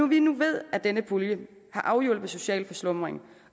vi nu ved at denne pulje har afhjulpet social forslumring